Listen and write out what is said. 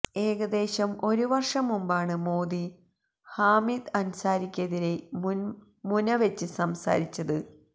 ഏകദേശം ഒരുവർഷം മുമ്പാണ് മോദി ഹാമിദ് അൻസാരിക്കെതിരെ മുനവച്ച് സംസാരിച്ചത്